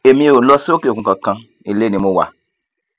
èmi ò lọ sókè òkun kankan ilé ni mo wà